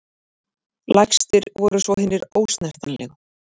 Lægstir voru svo hinir ósnertanlegu.